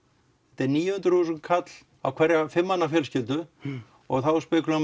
þetta er níu hundruð þúsund kall á hverja fjölskyldu og þá spekúlerar